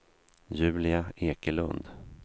Julia Ekelund